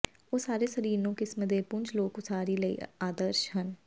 ਉਹ ਸਾਰੇ ਸਰੀਰ ਨੂੰ ਕਿਸਮ ਦੇ ਪੁੰਜ ਲੋਕ ਉਸਾਰੀ ਲਈ ਆਦਰਸ਼ ਹਨ